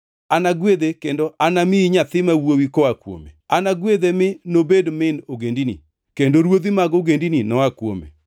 Anagwedhe kendo anamiyi nyathi ma wuowi koa kuome. Anagwedhe mi nobed min ogendini; kendo ruodhi mag ogendini noa kuome.”